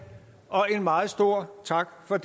og en meget stor tak for